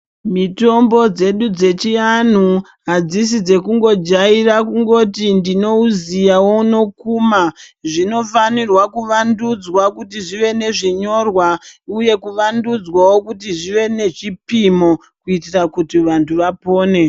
Mitombo dzedu dzechianhu adzisi dzekungojaira kuti ndinouziya wonokuma. Zvinofana kuvandudzwa kuti zvive nezvinyorwa uye kuvandudzwawo kuti zvive nezvipimo kuitira kuti vanti vapone.